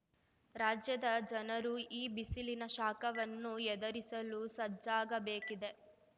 ರಾಜ್ಯದ ಜನರು ಈ ಬಿಸಿಲಿನ ಶಾಖವನ್ನು ಎದರಿಸಲು ಸಜ್ಜಾಗಬೇಕಿದೆ